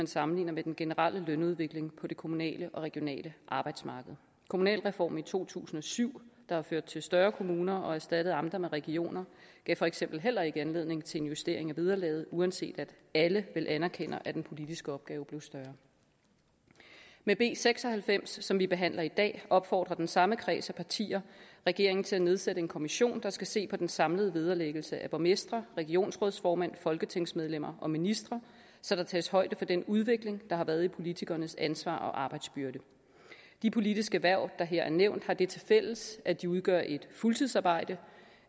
sammenlignet med den generelle lønudvikling på det kommunale og regionale arbejdsmarked kommunalreformen i to tusind og syv der førte til større kommuner og erstattede amter med regioner gav for eksempel heller ikke anledning til en justering af vederlaget uanset at alle vel anerkender at den politiske opgave blev større med b seks og halvfems som vi behandler i dag opfordrer den samme kreds af partier regeringen til at nedsætte en kommission der skal se på den samlede vederlæggelse af borgmestre regionsrådsformand folketingsmedlemmer og ministre så der tages højde for den udvikling der har været i politikernes ansvar og arbejdsbyrde de politiske hverv der her er nævnt har det tilfælles at de udgør et fuldtidsarbejde